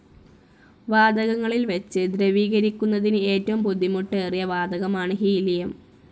വാതകങ്ങളിൽ വച്ച് ദ്രവീകരിക്കുന്നതിന് ഏറ്റവും ബുദ്ധിമുട്ടേറിയ വാതകമാണ് ഹീലിയം.